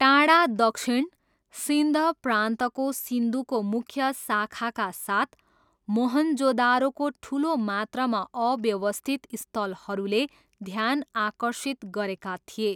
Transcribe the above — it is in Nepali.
टाढा दक्षिण, सिन्ध प्रान्तको सिन्धुको मुख्य शाखाका साथ, मोहॆनजोदारोको ठुलो मात्रामा अव्यवस्थित स्थलहरूले ध्यान आकर्षित गरेका थिए।